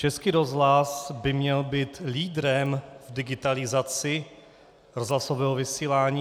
Český rozhlas by měl být lídrem v digitalizaci rozhlasového vysílání.